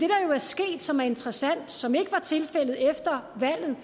jo er sket som er interessant og som ikke var tilfældet efter valget